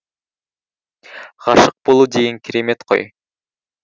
ғашық болу деген керемет қой